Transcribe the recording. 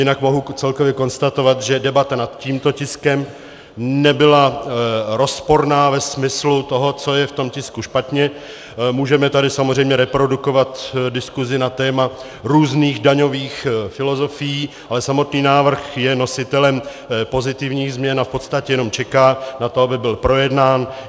Jinak mohu celkově konstatovat, že debata nad tímto tiskem nebyla rozporná ve smyslu toho, co je v tom tisku špatně, můžeme tady samozřejmě reprodukovat diskusi na téma různých daňových filozofií, ale samotný návrh je nositelem pozitivních změn a v podstatě jenom čeká na to, aby byl projednán.